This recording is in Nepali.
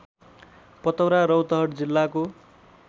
पतौरा रौतहट जिल्लाको